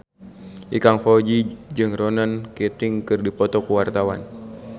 Ikang Fawzi jeung Ronan Keating keur dipoto ku wartawan